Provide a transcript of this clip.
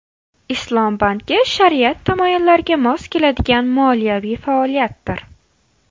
Islom banki shariat tamoyillariga mos keladigan moliyaviy faoliyatdir.